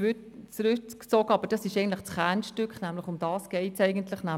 Punkt 3 ist eigentlich das Kernstück des Vorstosses, doch er ist zurückgezogen worden.